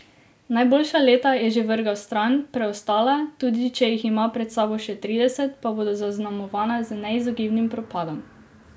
Najboljša leta je že vrgel stran, preostala, tudi če jih ima pred sabo še trideset, pa bodo zaznamovana z neizogibnim propadom.